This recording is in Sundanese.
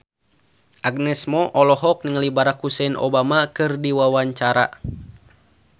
Agnes Mo olohok ningali Barack Hussein Obama keur diwawancara